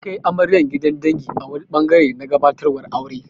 An kai amaryar gidan dangi a wani ɓangare na gabatarwar aure.